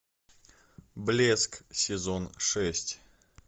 блеск сезон шесть